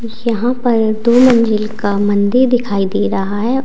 यहां पर दो मंजिल का मंदिर दिखाई दे रहा है।